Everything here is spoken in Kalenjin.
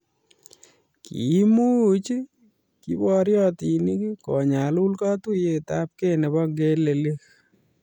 Kiimuch kiboriotinik konyalul katuiyeyabkei nebo ngelelik